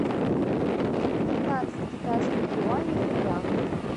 пятнадцать китайских юаней в рублях